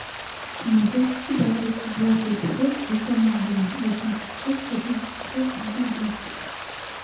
ты найдешь у себя тридцать девятый эпизод эта англия восемьдесят шесть восемьдесят восемь девяносто